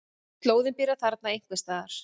Slóðinn byrjar þarna einhvers staðar.